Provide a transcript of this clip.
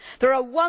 There are